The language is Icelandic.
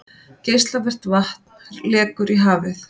Geislavirkt vatn lekur í hafið